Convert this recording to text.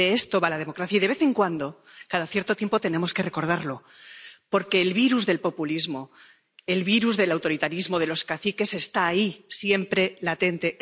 De esto va la democracia, y de vez en cuando, cada cierto tiempo, tenemos que recordarlo, porque el virus del populismo, el virus del autoritarismo, de los caciques, está ahí, siempre latente.